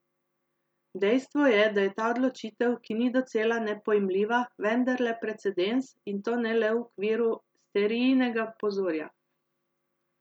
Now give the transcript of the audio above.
Dejstvo je, da je ta odločitev, ki ni docela nepojmljiva, vendarle precedens, in to ne le v okviru Sterijinega pozorja.